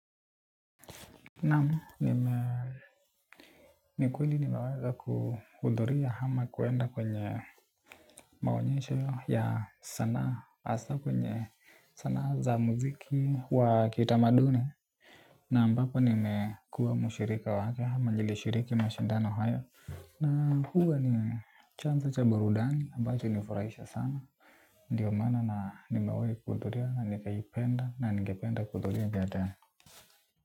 Naam, ni kweli nimeweza kuhudhuria ama kuenda kwenye maonyesho ya sanaa hasa kwenye sanaa za muziki wa kitamaduni. Na ampapo nimekua mushirika wa haka hama njili shiriki mashindana hayo. Na huwa ni chanzo cha barudani ambacho hunifurahisha sana. Ndiyo maana na nimawai kuhuduria na nikahipenda na nikipenda kuhuduria gata.